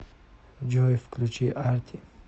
джой включи арти